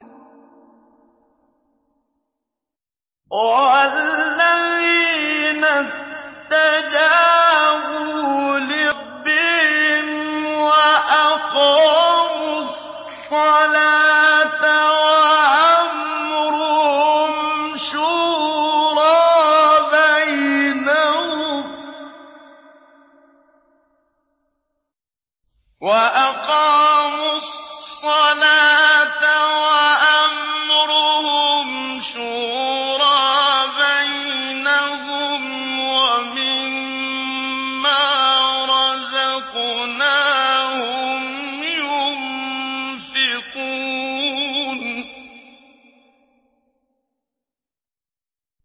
وَالَّذِينَ اسْتَجَابُوا لِرَبِّهِمْ وَأَقَامُوا الصَّلَاةَ وَأَمْرُهُمْ شُورَىٰ بَيْنَهُمْ وَمِمَّا رَزَقْنَاهُمْ يُنفِقُونَ